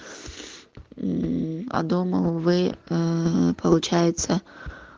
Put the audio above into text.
мм а дома вы аа получается